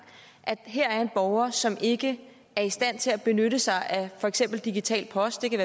at her er en borger som ikke er i stand til at benytte sig af for eksempel digital post det kan